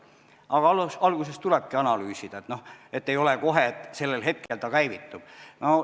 Aga alguses tulebki analüüsida, ei ole kohe kirjas, et sellel hetkel ta käivitub.